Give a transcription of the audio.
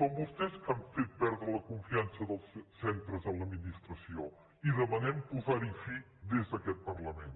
són vostès que han fet perdre la confiança dels centres a l’adminis·tració i demanem posar·hi fi des d’aquest parlament